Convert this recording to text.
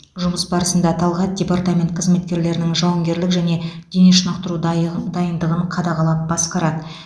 жұмыс барысында талғат департамент қызметкерлерінің жауынгерлік және дене шынықтыру дайын дайындығын қадағалап басқарады